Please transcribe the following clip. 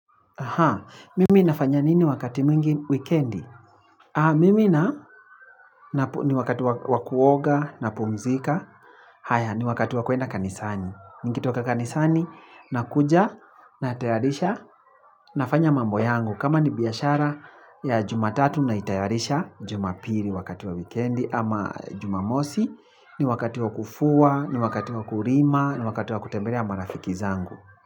Ha, mimi nafanya nini wakati mwingi wikendi? Ha, mimi na, ni wakati wakuoga, na pumzika, haya, ni wakati wakuenda kanisani. Niki toka kanisani, na kuja, na tayarisha, nafanya mambo yangu. Kama ni biashara ya jumatatu na itayarisha, jumapiri wakati wa wikendi ama jumamosi, ni wakati wakufua, ni wakati wakurima, ni wakati wakutembelea marafiki zangu.